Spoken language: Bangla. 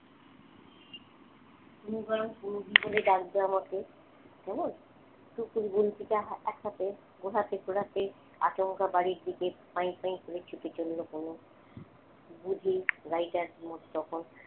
বলল বরং অনু দি বলে ডাকবে আমাকে? কেমন তারপরে গুলতি টা এক হাতে ঘুরাতে ঘুরাতে আচমকা বাড়ির দিকে সাই সাই করে ছুটে চলল বুঝি গাড়িটা তখন